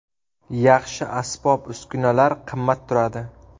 Yaxshi asbob-uskunalar qimmat turadi.